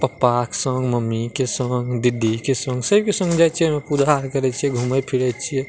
पापा के संग मम्मी के संग दीदी के संग सब के संग जाइ छे पूजा करइ छे घूमै फिरै छे।